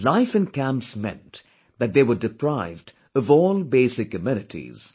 Life in camps meant that they were deprived of all basic amenities